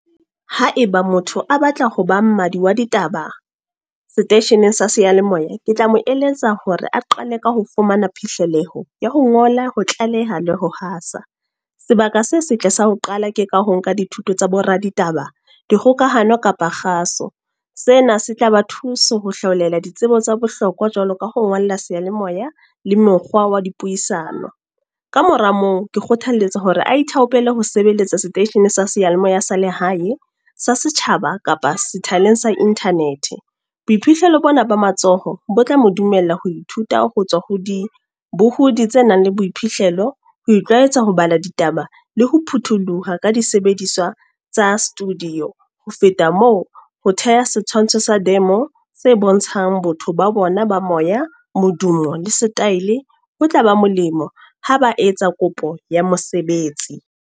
Haeba motho a batla ho ba mmadi wa ditaba, seteisheneng sa seyalemoya. Ke tla mo eletsa hore a qale ka ho fumana phihleloho ya ho ngola, ho tlaleha, le ho hasa. Sebaka se setle sa ho qala ke ka ho nka dithuto tsa bo raditaba, dikgokahano kapa kgaso. Sena se tla ba thuso ho hlaolela ditsebo tsa bohlokwa jwalo ka ho ngolla seyalemoya, le mekgwa wa dipuisano. Ka mora moo, ke kgothaletsa hore a ithaopele ho sebeletsa seteishene sa seyalemoya sa lehae. Sa setjhaba, kapa sethaleng sa Internet. Boiphihlelo bona ba matsoho. Bo tla mo dumella ho ithuta ho tswa ho dibuhudi tse nang le boiphihlelo, ho tshwaetsa ho bala ditaba, le ho potoloha ka di sebediswa tsa studio. Ho feta moo, ho theha setshwantsho sa demo se bontshang botho ba bona ba moya, modumo, le setaele, ho tla ba molemo ha ba etsa kopo ya mosebetsi.